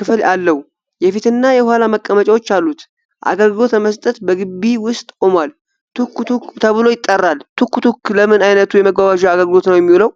ክፍል አለው። የፊትና የኋላ መቀመጫዎች አሉት። አገልሎት ለመስጠት በግቢ ውስጥ ቆሟል። ቱክ ቱክ ተብሎ ይጠራል። ቱክ ቱክ ለምን ዓይነት የመጓጓዣ አገልግሎት ነው የሚውለው?